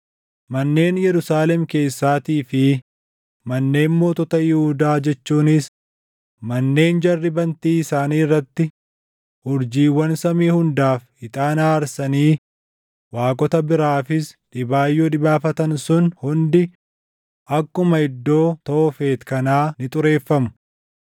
Manneen Yerusaalem keessaatii fi manneen mootota Yihuudaa jechuunis manneen jarri bantii isaanii irratti urjiiwwan samii hundaaf ixaana aarsanii waaqota biraafis dhibaayyuu dhibaafatan sun hundi akkuma iddoo Toofet kanaa ni xureeffamu.’ ”